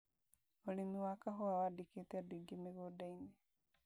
ũrĩmi wa kahũa wandĩkĩte andũ aingĩ mĩgũnda-inĩ